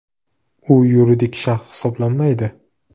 U yuridik shaxs hisoblanmaydi.